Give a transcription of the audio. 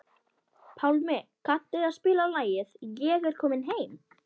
Pálmi, kanntu að spila lagið „Ég er kominn heim“?